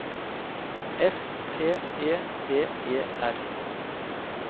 S T E D E R